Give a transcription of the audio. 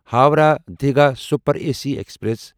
Howrah Digha super A C express